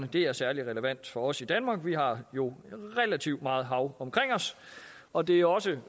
det er særlig relevant for os i danmark vi har jo relativt meget hav omkring os og det er også